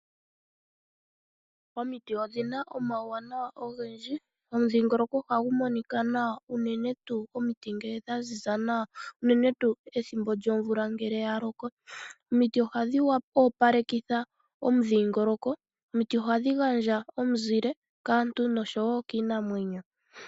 Omiti odhina omauwanawa ogendji. Omudhingoloko ohagu monika nawa unene tuu omiti ngee dha ziza nawa unene tuu ethimbo lyomvula ngele ya loko. Omiti ohadhi opalekitha omudhingoloko. Omiti ohadhi gandja omuzile kaantu noshowo kiinamwenyo.